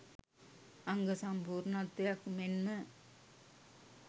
අංග සම්පූර්ණත්වයක් මෙන්ම